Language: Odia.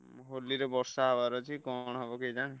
ଉଁ ହୋଲିରେ ବର୍ଷା ହବାର ଅଛି କଣ ହବ କେଜାଣି।